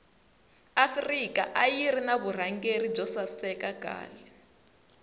afrika ayirina vurhangeli bwosaseka khale